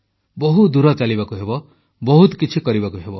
ବହୁ ଦୂର ଚାଲିବାକୁ ହେବ ବହୁତ କିଛି କରିବାକୁ ହେବ